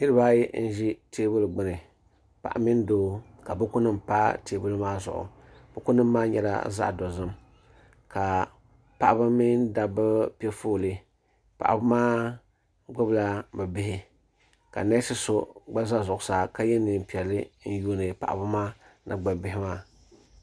niribaayi n ʒɛ tɛbuli gbani paɣ' mini do be bukunim pa tɛbuli maa zuɣ buku nim maa nyɛla zaɣ dozim ka paɣ' ba mini da ba pɛƒɔli paɣ' ba maa gbabila be bihi ka nɛsi so gba za zuɣ saa ka yɛ nɛnpiɛli n yuni paɣ' maa ni gbabi bihi maa